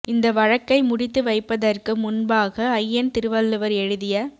இந்த வழக்கை முடித்து வைப்ப தற்கு முன்பாக அய்யன் திருவள்ளுவர் எழுதிய